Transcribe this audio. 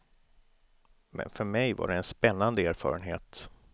Men för mig var det en spännande erfarenhet.